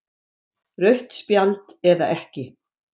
Rautt spjald eða ekki?